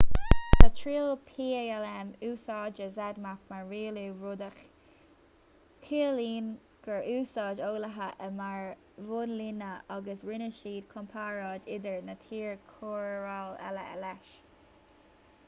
sa triail palm úsáideadh zmapp mar rialú rud a chiallaíonn gur úsáid eolaithe é mar bhunlíne agus rinne siad comparáid idir na trí chóireáil eile leis